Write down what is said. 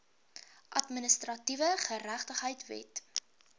administratiewe geregtigheid wet